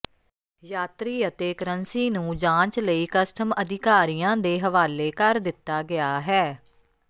ਯਾਤਰੀ ਅਤੇ ਕਰੰਸੀ ਨੂੰ ਜਾਂਚ ਲਈ ਕਸਟਮ ਅਧਿਕਾਰੀਆਂ ਦੇ ਹਵਾਲੇ ਕਰ ਦਿੱਤਾ ਗਿਆ ਹੈ